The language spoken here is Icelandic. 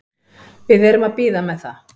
Við erum að bíða með það.